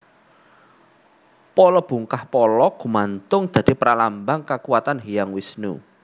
Pala bungkah pala gumantung dadi pralambang kakuwatan Hyang Wisnu